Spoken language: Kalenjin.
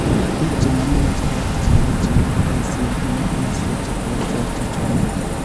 Biik chenomu ng�eecherok cheechen kobayiisye en komosweek cheterter chechome